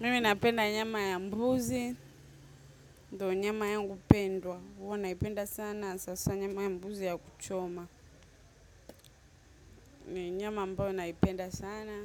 Mimi napenda nyama ya mbuzi, ndo nyama yangu pendwa. Huwa naipenda sana, hasa nyama ya mbuzi ya kuchoma. Nyama ambayo naipenda sana,